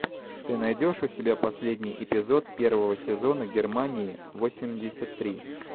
ты найдешь у себя последний эпизод первого сезона германии восемьдесят три